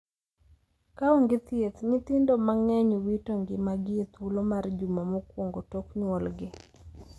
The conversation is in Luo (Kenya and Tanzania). Kaonge thieth, nyithindo mang`eny wito ngimagi ethuolo mar juma mokuongo tok nyuolgi.